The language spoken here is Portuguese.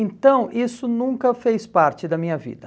Então, isso nunca fez parte da minha vida.